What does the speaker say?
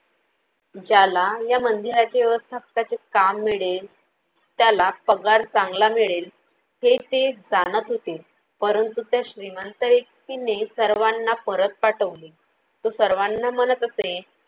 ज्याला या मंदिराच्या व्यवस्थापनाचे काम मिळेल त्याला पगार चांगला मिळेल हे ते जाणत होते. परंतु त्या श्रीमंत व्यक्तीने सर्वांना परत पाठवले. तो सर्वांना म्हनत असे